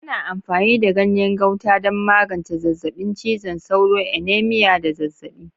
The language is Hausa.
Ana amfani da ganyen Gauta don magance zazzabin cizon sauro, anemia, da zazzabi.